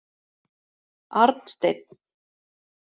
Arnsteinn